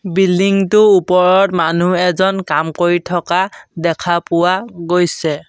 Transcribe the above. Building টো ওপৰত মানুহ এজন কাম কৰি থকা দেখা পোৱা গৈছে।